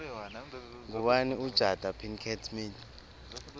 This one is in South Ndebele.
ngubani ujada pickett smith